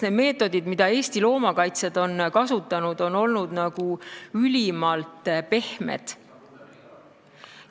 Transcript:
Need meetodid, mida Eesti loomakaitsjad on kasutanud, on olnud ülimalt pehmed.